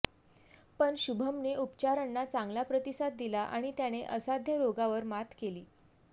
पण शुभमने उपचारांना चांगला प्रतिसाद दिला आणि त्याने असाध्य रोगावर मात केली